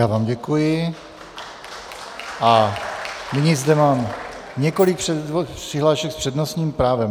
Já vám děkuji a nyní zde mám několik přihlášek s přednostním právem.